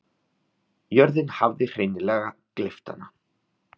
Jörðin hafði hreinleg gleypt hana.